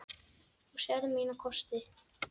Þú sérð mína kosti.